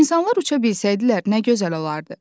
İnsanlar uça bilsəydilər, nə gözəl olardı.